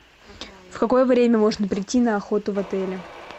в какое время можно прийти на охоту в отеле